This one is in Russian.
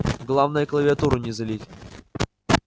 главное клавиатуру не залить